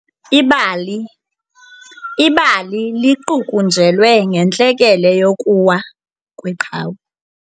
Ibali liqukunjelwe ngentlekele yokuwa kweqhawe.